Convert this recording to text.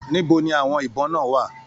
Níbo ní àwọn ibọn náà wà?